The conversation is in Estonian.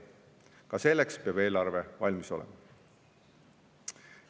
Ka selleks peab eelarve valmis olema.